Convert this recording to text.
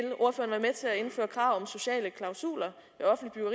indføre krav om sociale klausuler